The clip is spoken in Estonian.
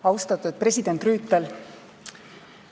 Austatud president Rüütel!